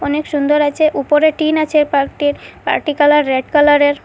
অনেক সুন্দর আছে উপরে টিন আছে পার্ক -টির পার্ক -টির কালার রেড কালার -এর।